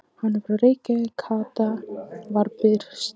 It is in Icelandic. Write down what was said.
Hann er frá Reykjavík, Kata var byrst.